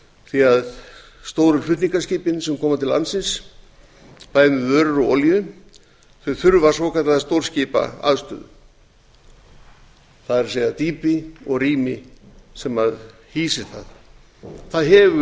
því að stóru flutningaskipin sem koma til landsins bæði með vörur og olíu þurfa svokallaða stórskipaaðstöðu það er dýpi og rými sem hýsir það það